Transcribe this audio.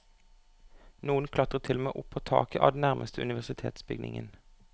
Noen klatret til og med opp på taket av den nærmeste universitetsbygningen.